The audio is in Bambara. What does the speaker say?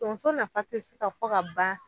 Tonso nafa te se ka fɔ ka ban